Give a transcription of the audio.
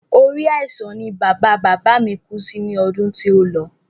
Orí àìsàn ni bàba bàbá mi kú sí ní ọdún tí o lọ